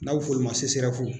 N'a bɛ f'olu ma CSREF